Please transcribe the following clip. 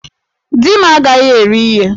Di m agaghi eri ihe!